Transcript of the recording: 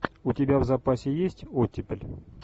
у тебя в запасе есть оттепель